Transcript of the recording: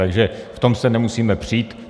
Takže v tom se nemusíme přít.